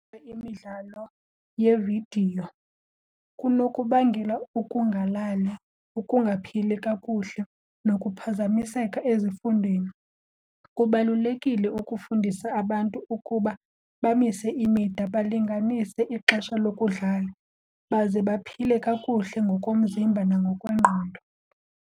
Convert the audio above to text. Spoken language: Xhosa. Imidlalo yeevidiyo kunokubangela ukungalali, ukungaphili kakuhle nokuphazamiseka ezifundweni. Kubalulekile ukufundisa abantu ukuba bamise imida, balinganise ixesha lokudlala baze baphile kakuhle ngokomzimba nangokwengqondo.